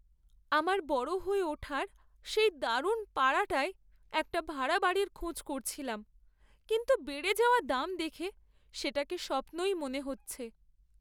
আমার বড় হয়ে ওঠার সেই দারুণ পাড়াটায় একটা ভাড়া বাড়ির খোঁজ করছিলাম, কিন্তু বেড়ে যাওয়া দাম দেখে সেটাকে স্বপ্নই মনে হচ্ছে।